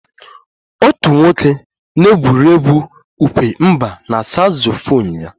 Otu nwoke na-egwuri egwu ukwe mba na saksofon ya